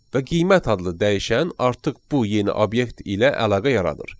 Və qiymət adlı dəyişən artıq bu yeni obyekt ilə əlaqə yaradır.